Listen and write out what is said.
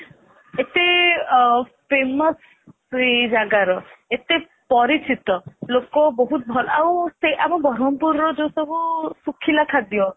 ଏତେ ଅ famous ସେଇ ଜାଗାର ଏତେ ପରିଚିତ ଲୋକ ବହୁତ ଭଲ ଆଉ ସେ ଆମ ବ୍ରହ୍ମପୁର ରୁ ଯୋଉ ସବୁ ଶୁଖିଲା ଖାଦ୍ଯ